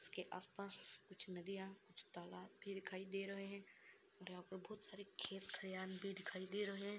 उसके आस-पास कुछ नदियाँ कुछ तालाब भी दिखाई दे रहे हैं और यहाँ पे बहुत सारे खेत खलियान भी दिखाई भी दे रहे हैं।